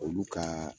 Olu ka